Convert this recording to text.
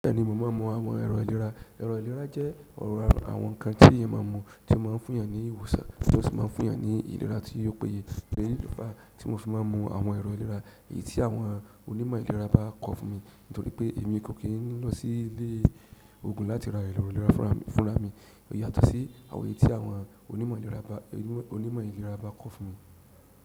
Bẹ́ẹ̀ni, mo máa mu àwọn ẹ̀rọ ìlera. Ẹ̀rọ ìlera jẹ́ ọ̀rọ̀ àwọn nkan tí èèyàn máa mu, tí ó máa ń fún eyàn ní ìwòsàn, tí ó sì máa ń fún eyàn ní ìlera tí ò péye. Èyí lo fa tí mo fi máa n mu àwọn ẹ̀rọ ìlera, èyí tí àwọn onímọ̀ ìlera bá kọ fún mi nítorí pé èmi kò kí ń lọ sí ilé ògùn láti ra ẹ̀rọ ìlera fúnra mi, yàtọ̀ sí àwọn èyí tí àwọn onímọ̀ ìlera bá, onímọ̀ ìlera bá kọ́ fún mi.